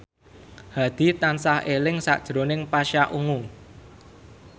Hadi tansah eling sakjroning Pasha Ungu